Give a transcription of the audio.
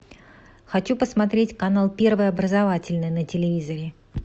хочу посмотреть канал первый образовательный на телевизоре